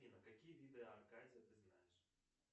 афина какие виды аркадия ты знаешь